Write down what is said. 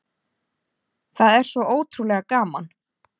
Það er svo ótrúlega gaman